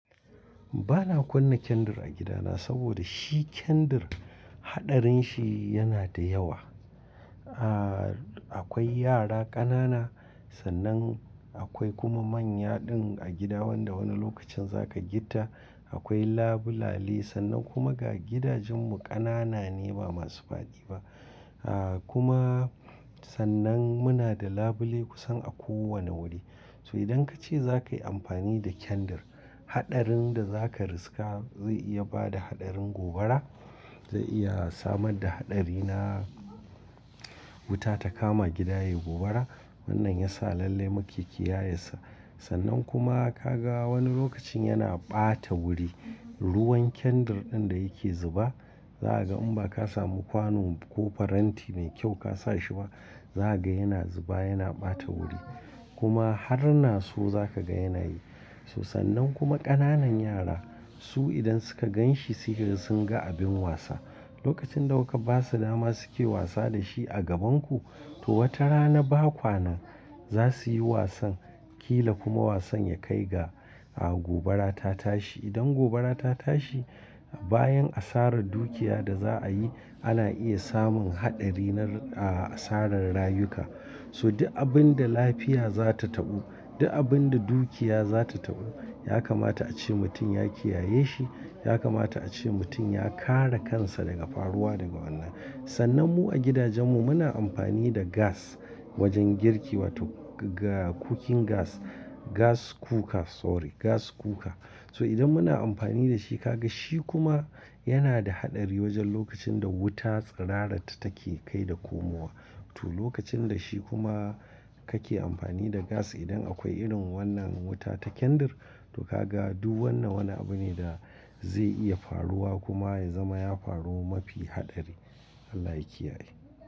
Ba na kunna kyandir a gidana saboda shi kyandir haɗarin shi yana da yawa. Aaa, akwai yara ƙanana sannan akwai kuma manya din a gida wanda wani lokacin za ka gitta, akwai labulale sannan kuma ga gidajen mu ƙanana ne ba masu faɗi ba. Aa kuma sannan muna da labule kusan a kowane wuri. So idan ka ce za ka yi amfani da kyandir, haɗarin da za ka riska zai iya ba da haɗarin gobara, zai iya samar da haɗari na wuta ta kama gida yayi gobara. Wannan ya sa lalle mu ke kiyaye sa. Sannan kuma ka ga wani lokacin yana ɓata wuri. Ruwan kyandir ɗin da yake zuba, za a ga in ba ka samu kwanon ko faranti mai kyau ka sa shi ba, za ka ga yana zuba yana ɓata wuri. Kuma har naso za ka ga yana yi. Ba na kunna kyandir a gidana saboda shi kyandir haɗarin shi yana da yawa. Lokacin da kuka ba su dama suke wasa da shi a gabanku, to wata rana ba kwanan za su yi wasan ƙila kuma wasan ya kai ga gobara ta tashi. Idan gobara ta tashi bayan asarar dukiya da za a yi ana iya samun haɗari na asarar rayuka. So duk abin da lafiya za ta taɓu, duk abin da dukiya za ta taɓu, ya kamata a ce mutum ya kiyaye shi, ya kamata a ce mutum ya kare kansa daga faruwa daga wannan. Sannan mu a gidajen mu muna amfani da gas wajen girki wato ga cooking gas, gas cooker sorry gas cooker. So idan muna amfani da shi ka ga shi kuma yana da haɗari wajen lokacin da wuta tsirara ta take kai da komowa. To lokacin da shi kuma ka ke amfani da gas idan akwai irin wannan wuta ta kyandir to ka ga duk wannan wani abu ne da zai iya faruwa kuma ya zama ya faru mafi haɗari. Allah ya kiyaye.